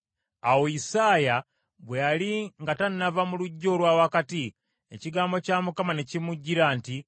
Awo Isaaya bwe yali nga tannava mu luggya olwa wakati, ekigambo kya Mukama ne kimujjira nti,